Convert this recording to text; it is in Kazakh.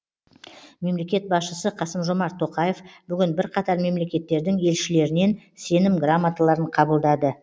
мемлекет басшысы қасым жомарт тоқаев бүгін бірқатар мемлекеттердің елшілерінен сенім грамоталарын қабылдады